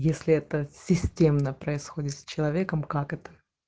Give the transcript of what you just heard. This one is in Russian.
если это системно происходит с человеком как это